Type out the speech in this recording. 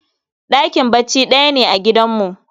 Ɗakin bacci ɗaya ne a gidanmu